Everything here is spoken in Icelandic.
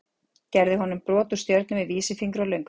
Gerði honum brot úr stjörnu með vísifingri og löngutöng.